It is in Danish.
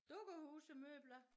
Dukkehusemøbler